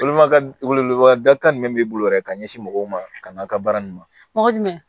Bolima ka wele welebada jumɛn b'i bolo yɛrɛ ka ɲɛsin mɔgɔw ma ka n'a ka baara in jumɛn